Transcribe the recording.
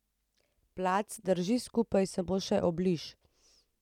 Plac drži skupaj samo še obliž.